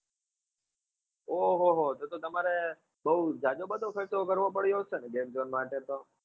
ઓં હો હો તો તો તમારે બહુ જાજો બધો ખર્ચો કરવો પડ્યો હશે ને game zone માટે તો?